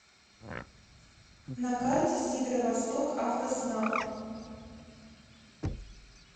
на карте северовостокавтоснаб